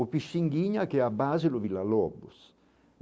O Pichinguinha, que é a base do Villa Lobos.